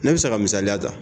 Ne bi se ka misaliya ta